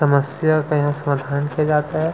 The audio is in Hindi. समस्या का यहाँ समाधान किया जाता है।